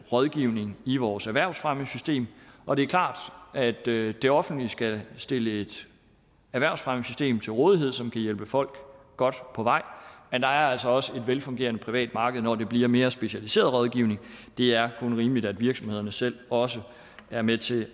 rådgivning i vores erhvervsfremmesystem og det er klart at det det offentlige skal stille et erhvervsfremmesystem til rådighed som kan hjælpe folk godt på vej men der er altså også et velfungerende privat marked når det bliver mere specialiseret rådgivning det er kun rimeligt at virksomhederne selv også er med til